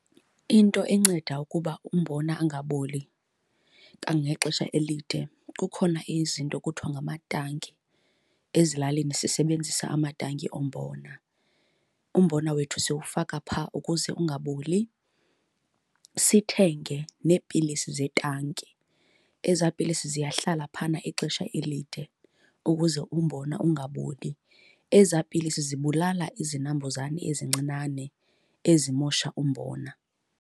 Into enceda ukuba umbona angaboli kangangexesha elide, kukhona izinto kuthiwa ngamatanki, ezilalini sisebenzisa amatanki ombona. Umbona wethu siwufaka phaa ukuze ungaboli, sithenge neepilisi zetanki. Ezaa pilisi ziyahlala phayana ixesha elide ukuze umbona ungaboli. Ezaa pilisi zibulala izinambuzane ezincinane ezimosha umbona.